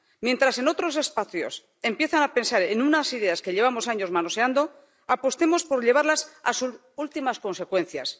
Mientras en otros espacios empiezan a pensar en unas ideas que llevamos años manoseando, apostemos por llevarlas a sus últimas consecuencias.